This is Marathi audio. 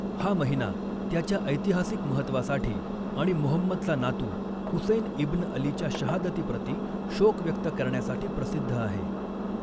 हा महिना त्याच्या ऐतिहासिक महत्वासाठी आणि मुहम्मदचा नातू हुसैन इब्न अलीच्या शहादतीप्रति शोक व्यक्त करण्यासाठी प्रसिद्ध आहे.